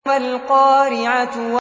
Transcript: مَا الْقَارِعَةُ